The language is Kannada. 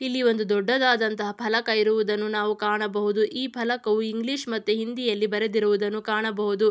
ಇಲ್ಲಿ ಒಂದು ದೊಡ್ಡದಾದಂತಹ ಫಲಕ ಇರುವುದನ್ನು ನಾವು ಕಾಣಬಹುದು. ಈ ಫಲಕವು ಇಂಗ್ಲಿಷ್ ಮತ್ತೆ ಹಿಂದಿಯಲ್ಲಿ ಬರೆದಿರುವುದನ್ನು ಕಾಣಬಹುದು.